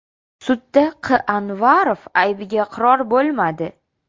Sudda Q. Anvarov aybiga iqror bo‘lmadi.